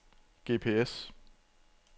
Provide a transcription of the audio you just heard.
GPS